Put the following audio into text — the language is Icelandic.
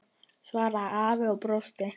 svaraði afi og brosti.